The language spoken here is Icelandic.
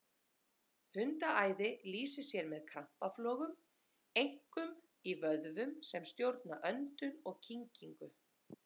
Hundaæði lýsir sér með krampaflogum, einkum í vöðvum sem stjórna öndun og kyngingu.